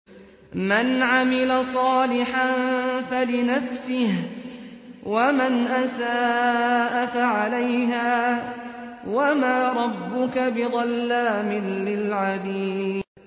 مَّنْ عَمِلَ صَالِحًا فَلِنَفْسِهِ ۖ وَمَنْ أَسَاءَ فَعَلَيْهَا ۗ وَمَا رَبُّكَ بِظَلَّامٍ لِّلْعَبِيدِ